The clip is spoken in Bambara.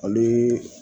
Ani